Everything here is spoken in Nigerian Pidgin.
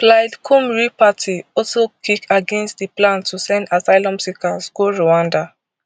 plaid cymru party also kick against di plan to send asylum seekers go rwanda